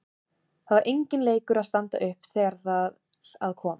Það var enginn leikur að standa upp þegar þar að kom.